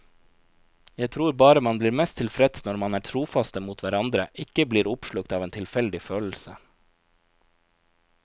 Jeg tror bare man blir mest tilfreds når man er trofaste mot hverandre, ikke blir oppslukt av en tilfeldig følelse.